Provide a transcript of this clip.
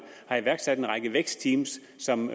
har iværksat en række vækstteam som